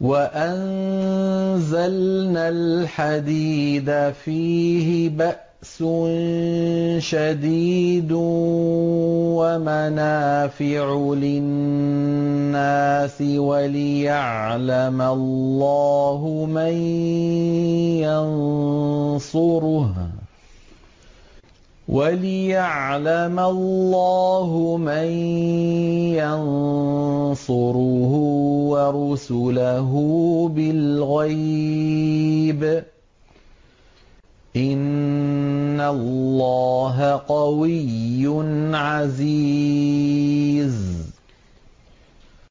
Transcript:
وَأَنزَلْنَا الْحَدِيدَ فِيهِ بَأْسٌ شَدِيدٌ وَمَنَافِعُ لِلنَّاسِ وَلِيَعْلَمَ اللَّهُ مَن يَنصُرُهُ وَرُسُلَهُ بِالْغَيْبِ ۚ إِنَّ اللَّهَ قَوِيٌّ عَزِيزٌ